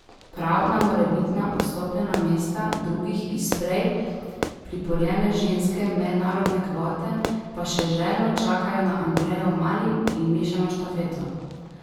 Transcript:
Prav na morebitna odstopljena mesta drugih iz prej priborjene ženske mednarodne kvote pa še željno čakajo za Andrejo Mali in mešano štafeto.